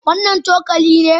Wannan cokali ne?